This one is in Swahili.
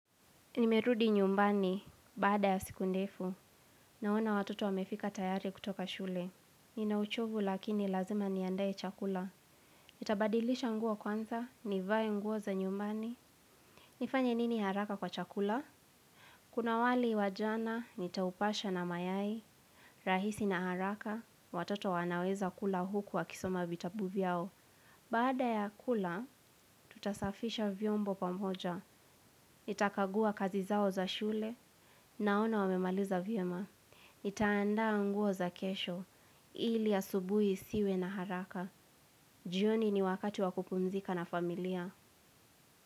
Nimerudi nyumbani baada ya siku ndefu, naona watoto wamerudi tayari kutoka shule. Nina uchovu lakini lazima niandae chakula. Nitabadilisha nguo kwanza, nivae nguo za nyumbani. Nifanye nini haraka kwa chakula? Kuna wali wa jana, nitaupasha na mayai. Rahisi na haraka, watoto wanaweza kula huku wakisoma vitabu vyao. Baada ya kula, tutasafisha vyombo pamoja. Nitakagua kazi zao za shule naona wamemaliza vyema ntaandaa nguo za kesho ili asubuhi isiwe na haraka. Jioni ni wakati wa kupumzika na familia.